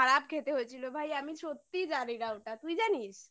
খেতে হয়েছিল ভাই আমি সত্যিই জানি না ওটা তুই জানিস